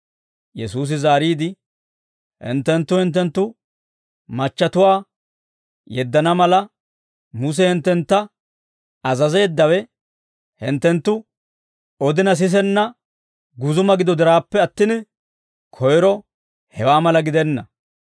Yesuusi zaariide, «Hinttenttu hinttenttu machchatuwaa yeddana mala, Muse hinttentta azazeeddawe, hinttenttu odina sisenna guzuma gido diraappe attin, koyro hewaa mala gidenna.